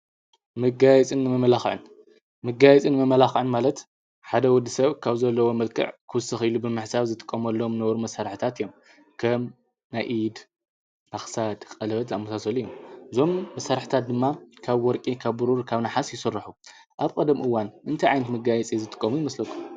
ምጋይጽን መመላኽዕን ምጋይጽን መመላኽዕን ማለት ሓደ ወዲ ሰብ ካብ ዘለዎ ምልክዕ ኽስኽ ኢሉ ብምሕሳብ ዝትቆም ኣሎም ነበሩ መሠራሕታት እዮም ከም ናይኢድ ባኽሳድ ቐለበት ኣሙሳሰሉ ዮም ዞም ብሠራሕታት ድማ ካብ ወርቂ ካብ ብሩር ካብ ነሓስ ይሠርሑ ኣብ ቐደምኡዋን እንቲ ዓይንቲ ምጋይፀ ዝትቆሙ ይመስለ?